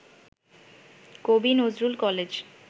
কবি নজরুল কলেজ